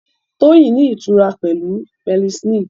Toyin ní ìtura pẹ̀lú penicillin